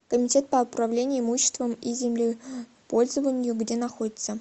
комитет по управлению имуществом и землепользованию где находится